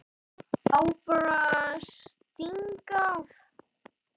Á bara að stinga af.